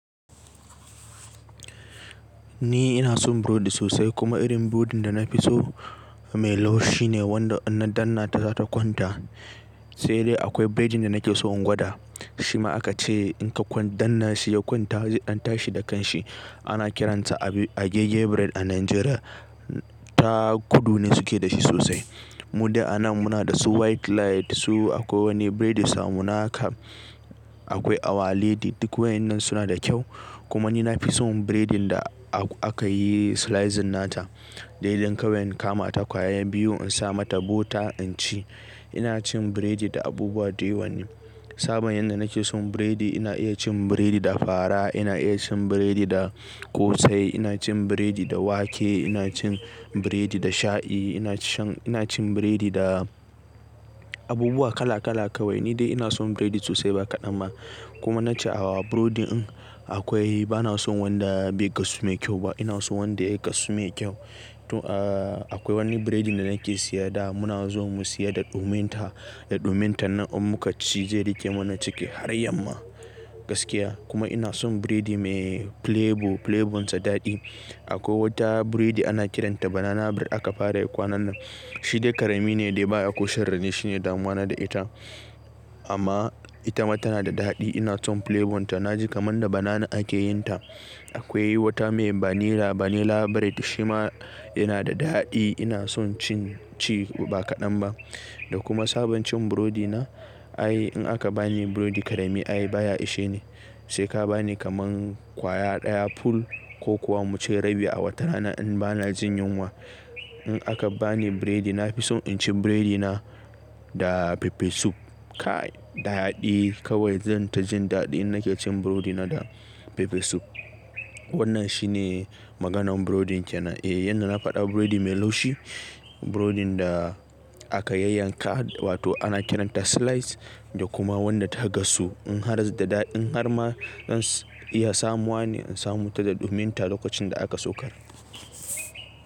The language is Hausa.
Ni ina son burodi sosai kuma irin burodin da na fi so mai laushi ne wanda in na danna ta za ta kwanta. Sai dai akwai bredin da nake so in gwada, shi ma aka ce in ka kwa danna shi ya kwanta, zai dan tashi da kanshi. Ana kiransa agege bread a Najeriya, ta kudu ne suke da shi sosai. Mu dai anan muna da su white light, su akwai wani bredi samu naka, akwai awaledi duk wayannan suna da kyau. Kuma ni na fi son bredin da aka yi slicing nata, dai don kawai in kama ta kwaya biyu in sa mata butter in ci. Ina cin bredi da abubuwa da yawan ne. Sabon yadda nake son bredi ina iya cin bredi da fara, ina iya cin bredi da ƙosai, ina cin bredi da wake, ina cin bredi da shayi, ina shan-- ina cin bredi da abubuwa kala kala kawai. Ni dai ina son bredi sosai ba kaɗan ba. Kuma na ce a wa burodi in akwai bana son wanda bai gasu mai kyau ba. Ina son wanda ya gasu mai kyau. To a, akwai wani bredin da nake siya da muna zuwa mu siya da ɗuminta, da ɗuminta nan in muka ci zai riƙe mana ciki har yamma gaskiya. Kuma ina son bredi mai flavour, flavournsa daɗi. Akwai wata bredi ana kiranta banana bread aka fara yi kwanan nan. Shi dai karami ne dai ba a koshar dani ne shine damuwa na da ita. Amma ita ma tana da daɗi ina son flavournta. Na ji kamar da banana aka yin ta. Akwai wata mai vanilla, vanilla bread shi ma yana da daɗi ina son cin ci ba kaɗan ba. Da kuma sabon cin burodi na, ai in aka ba ni burodi karami ai baya ishe ni. Sai ka ba ni kamar kwaya ɗaya full ko kuwa mu ce rabi a wata rana in ba na jin yunwa. In aka ba ni bredi na fi son in ci bredina da pepper soup. Kai daɗi kawai zan ta jin daɗi in nake cin burodina da pepper soup. Wannan shi ne maganan burodin kenan. Eh, yanda na faɗa burodi mai laushi, burodin da aka yayyanka wato ana kiranta slice da kuma wanda ta gasu. In har da ɗaɗi in har ma in iya samuwa ne in samu ta da ɗuminta lokacin da aka saukar.